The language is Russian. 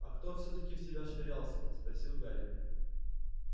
а кто всё-таки в тебя швырялся спросил гарри